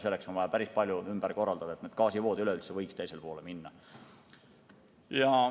Selleks on vaja päris palju ümber korraldada, et gaasivood üleüldse võiks teisele poole minna.